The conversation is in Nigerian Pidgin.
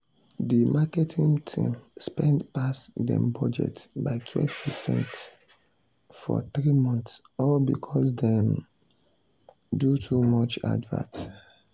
de marketing team spend pass dem budget by 12 percent for three months all because dem do too much advert.